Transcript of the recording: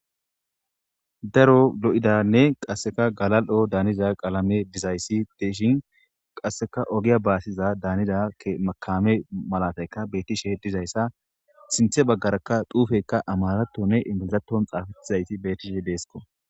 Daro lo7idanne qasseka galal7o daaniza qaalame dizayssi deeshin qasseka ogiya baasiza daanida makame malataykka bettishe dizayssa sinthe baggarakka duufekka amaratonne intizaton xaafatizayti betishe deesko.